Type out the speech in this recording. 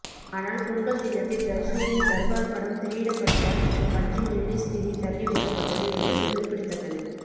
ஆனால் பொங்கல் தினத்தில் ரஜினியின் தர்பார் படம் திரையிடப்பட்டதால் இந்த படத்தின் ரிலீஸ் தேதி தள்ளி வைக்கப்பட்டது என்பது குறிப்பிடத்தக்கது